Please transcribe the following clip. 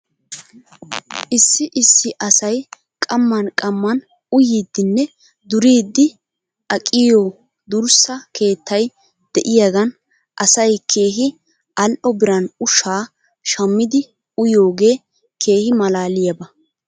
Issi issi asay qamman qamman uyiiddinne duriiddi aqiigiyoo durssa keettay de'iyaagan asay keehi al'o biran ushaa shmmidi uyiyoogee keehi malaaliyaaba.